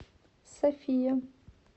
софия